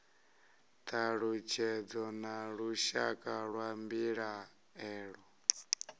thalutshedzo na lushaka lwa mbilaelo